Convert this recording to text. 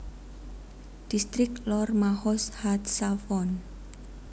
Distrik Lor Mahoz HaTzafon